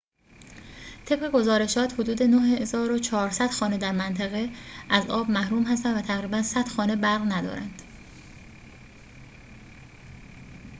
طبق گزارشات حدود ۹۴۰۰ خانه در منطقه از آب محروم هستند و تقریباً ۱۰۰ خانه برق ندارند